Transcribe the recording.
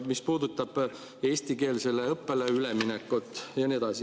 See puudutab eestikeelsele õppele üleminekut ja nii edasi.